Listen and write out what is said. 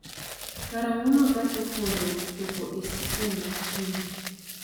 karang'o ma gach okolo chopo e stesen ma kingi